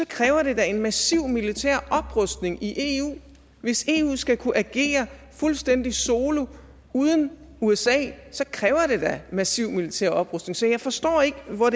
kræver det da en massiv militær oprustning i eu hvis eu skal kunne agere fuldstændig solo uden usa kræver det da massiv militær oprustning så jeg forstår ikke hvor